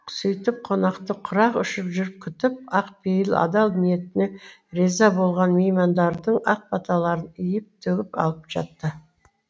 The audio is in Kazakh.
сөйтіп қонақты құрақ ұшып жүріп күтіп ақ пейіл адал ниетіне риза болған меймандардың ақ баталарын үйіп төгіп алып жатты